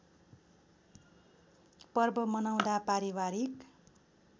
पर्व मनाउँदा पारिवारिक